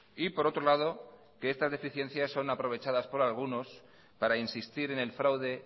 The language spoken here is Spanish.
y por otro lado que estas deficiencias son aprovechadas por algunos para insistir en el fraude